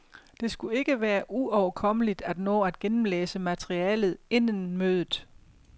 Det skulle ikke være uoverkommeligt at nå at gennemlæse materialet inden mødet.